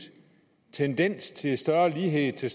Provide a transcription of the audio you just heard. tendens til større lighed til